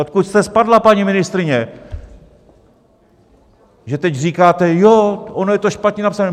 Odkud jste spadla, paní ministryně, že teď říkáte: Jo, ono je to špatně napsané.